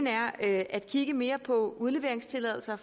er at kigge mere på udleveringstilladelser